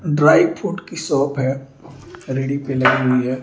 Dry fruit की shop है रेड़ी पे लगी हुई है।